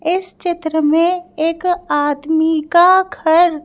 इस चित्र में एक आदमी का घर।